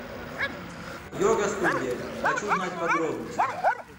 йога студия хочу знать подробности